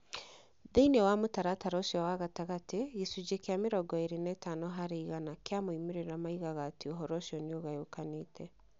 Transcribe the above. Thĩinĩ wa mũtaratara ũcio wa gatagatĩ, gĩcunjĩ kĩa mĩrongo ĩrĩ na ithano harĩ igana kĩa moimĩrĩro moigaga atĩ ũhoro ũcio nĩ ũgayũkanĩte.